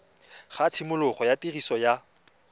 ga tshimologo ya tiriso ya